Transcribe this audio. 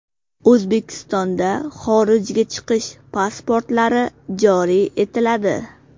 O‘zbekistonda xorijga chiqish pasportlari joriy etiladi.